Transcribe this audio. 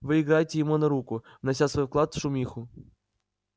вы играете ему на руку внося свой вклад в шумиху